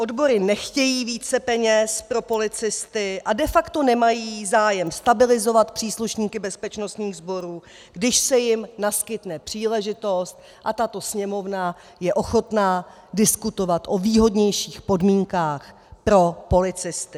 Odbory nechtějí více peněz pro policisty a de facto nemají zájem stabilizovat příslušníky bezpečnostních sborů, když se jim naskytne příležitost, a tato Sněmovna je ochotna diskutovat o výhodnějších podmínkách pro policisty.